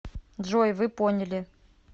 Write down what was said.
джой вы поняли